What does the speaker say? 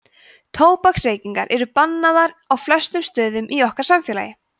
tóbaksreykingar eru bannaðar á flestum stöðum í okkar samfélagi